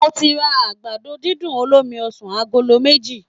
Mo ti ra àgbàdo dídùn olómi ọsàn agolo méjì